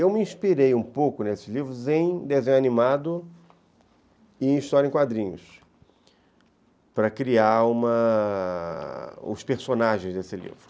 Eu me inspirei um pouco nesses livros em desenho animado e em história em quadrinhos, para criar uma... os personagens desse livro.